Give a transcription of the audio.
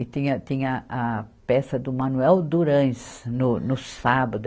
E tinha, tinha a peça do Manuel Durans, no, no sábado.